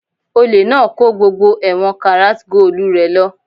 Olè náà kó gbogbo ẹ̀wọ̀n karat goolu rẹ̀ lọ